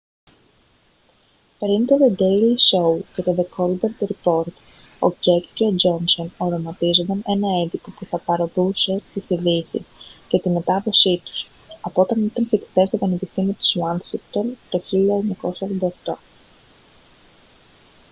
πολύ πριν το δε ντέιλι σόου και το δε κόλμπερτ ριπόρτ ο κεκ και ο τζόνσον οραματίζονταν ένα έντυπο που θα παρωδούσε τις ειδήσεις και τη μετάδοσή τους από όταν ήταν φοιτητές στο πανεπιστήμιο της ουάσιγκτον το 1988